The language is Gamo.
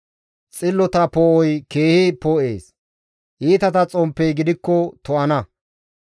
Xillota poo7oy keehi poo7ees; iitata xomppey gidikko to7ana.